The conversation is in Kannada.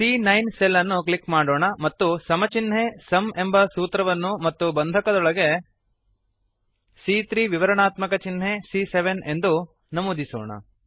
ಸಿಎ9 ಸೆಲ್ ಅನ್ನು ಕ್ಲಿಕ್ ಮಾಡೋಣ ಮತ್ತು ಸಮ ಚಿನ್ಹೆ ಸುಮ್ ಎಂಬ ಸೂತ್ರವನ್ನು ಮತ್ತು ಬಂಧಕದೊಳಗೆಬ್ರೆಸಸ್ ಸಿಎ3 ವಿವರಾಣಾತ್ಮಕ ಚಿನ್ಹೆ ಸಿಎ7 ಎಂದು ನಮೂದಿಸೋಣ